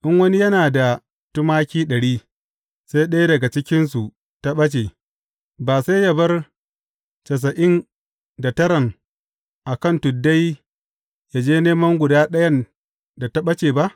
In wani yana da tumaki ɗari, sai ɗaya daga cikinsu ta ɓace, ba sai yă bar tasa’in da taran a kan tuddai yă je neman guda ɗayan da ta ɓace ba?